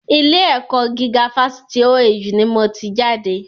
Ilé ẹ̀kọ́ gíga fásitì OAU ni mo ti jáde